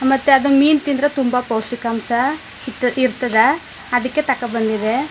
ಮತ್ತ ಅದನ್ನ ಮೀನ ತಿಂದ್ರೆ ತುಂಬಾ ಪೋಷ್ಟಿಕಾಂಶ ಇಷ್ಟ ತಿರ್ತದ್ ಅದಕ್ಕೆ ತೋಕೋಬಂದಿದೆ.